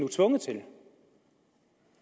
tvunget til det